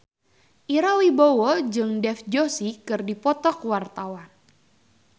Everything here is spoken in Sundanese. Ira Wibowo jeung Dev Joshi keur dipoto ku wartawan